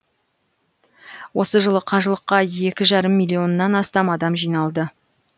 осы жылы қажылыққа екі жарым миллионнан астам адам жиналды